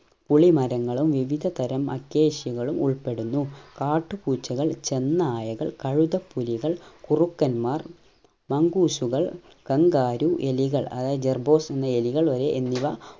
പുളി മരങ്ങളും വിവിധ aquasia കളും ഉൾപ്പെടുന്നു കാട്ടു പൂച്ചകൾ ചെന്നായകൾ കഴുതപുലികൾ കുറുക്കൻമാർ mangoose ഉകൾ kangaaroo എലികൾ അതായത് jerboas എന്ന എലികൾ വരെ എന്നിവ